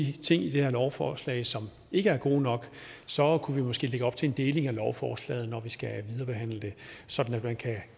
ting i det her lovforslag som ikke er gode nok så kunne vi måske lægge op til en deling af lovforslaget når vi skal viderebehandle det sådan at man kan